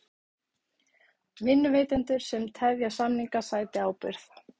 Vinnuveitendur sem tefja samninga sæti ábyrgð